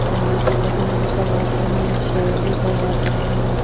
बालों की कटिंग भी करवाते हैं शेव भी करवाते हैं.